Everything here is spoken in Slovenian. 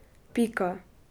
Pika.